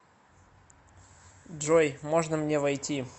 джой можно мне войти